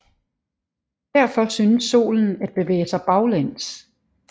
Derfor synes Solen at bevæge sig baglæns